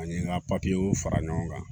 Ani n ka fara ɲɔgɔn kan